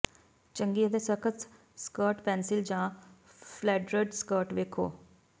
ਚੰਗੀ ਅਤੇ ਸਖ਼ਤ ਸਕਰਟ ਪੈਨਸਿਲ ਜਾਂ ਫਲੇਡਰਡ ਸਕਰਟ ਵੇਖੋ